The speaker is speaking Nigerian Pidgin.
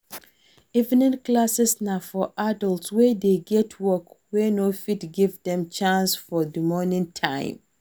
Evening classes na for adults wey get work wey no fit give Dem chance for morning time